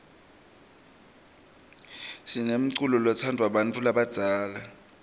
sinemculo lotsndvwa bantfu labadzala